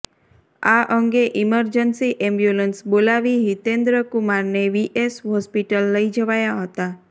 આ અંગે emergency ambulance બોલાવી હિતેન્દ્રકુમારને વીએસ હોસ્પિટલ લઈ જવાયા હતા